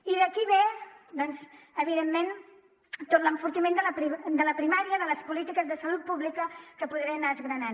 i d’aquí ve doncs evidentment tot l’enfortiment de la primària de les polítiques de salut pública que podré anar desgranant